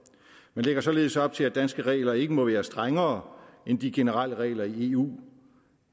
man lægger således op til at danske regler ikke må være strengere end de generelle regler i eu